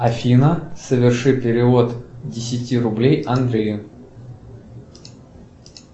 афина соверши перевод десяти рублей андрею